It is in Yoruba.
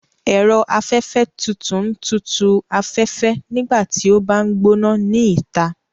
Ẹ̀rọ afẹfẹ tutu ń tutù u afẹ́fẹ́ nígbà tí ó bá ń gbóná ni ìta